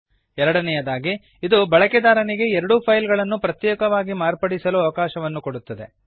ಎರಡನೆಯದಾಗಿ ಇದು ಬಳಕೆದಾರನಿಗೆ ಎರಡೂ ಫೈಲ್ ಗಳನ್ನು ಪ್ರತ್ಯೇಕವಾಗಿ ಮಾರ್ಪಡಿಸಲು ಅವಕಾಶವನ್ನು ಕೊಡುತ್ತದೆ